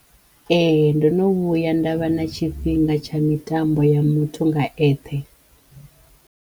Ehe ndo no vhuya nda vha na tshifhinga tsha mitambo ya muthu nga eṱhe.